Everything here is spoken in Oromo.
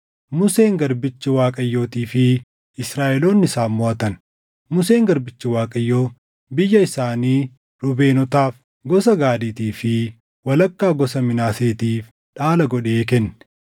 Museen garbichi Waaqayyootii fi Israaʼeloonni isaan moʼatan. Museen garbichi Waaqayyoo biyya isaanii Ruubeenotaaf, gosa Gaadiitii fi walakkaa gosa Minaaseetiif dhaala godhee kenne.